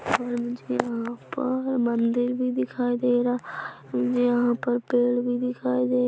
और मुझे यहाँ पर मंदिर भी दिखाई दे रहा मुझे यहाँ पर पेड़ भी दिखाई दे--